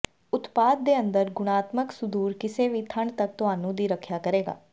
ਉਤਪਾਦ ਦੇ ਅੰਦਰ ਗੁਣਾਤਮਕ ਸੁਦੂਰ ਕਿਸੇ ਵੀ ਠੰਡ ਤੱਕ ਤੁਹਾਨੂੰ ਦੀ ਰੱਖਿਆ ਕਰੇਗਾ